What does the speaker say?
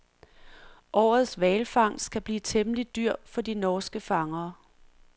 Årets hvalfangst kan blive temmelig dyr for de norske fangere.